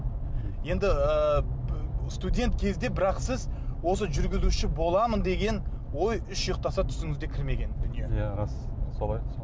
енді ііі студент кезде бірақ сіз осы жүргізуші боламын деген ой үш ұйықтаса түсіңізде кірмеген дүние иә рас солай